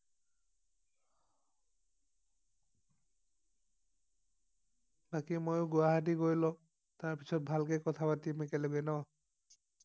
বাকি মই গুৱাহাটী গৈ লও তাৰ পিছত ভালকে কথা পাতিম একেলগে ন